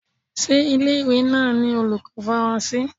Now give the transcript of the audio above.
Ṣé ilé ìwé náà ni olùkọ́ Faransé?